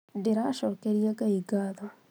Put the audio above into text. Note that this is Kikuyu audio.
ndĩracokeria ngai ngatho